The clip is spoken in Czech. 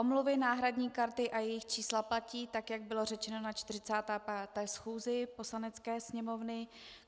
Omluvy, náhradní karty a jejich čísla platí tak, jak bylo řečeno na 45. schůzi Poslanecké sněmovny.